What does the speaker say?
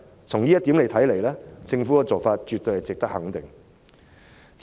從這一點來看，政府的做法絕對是值得肯定的。